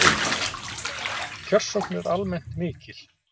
Kjörsókn er almennt mikil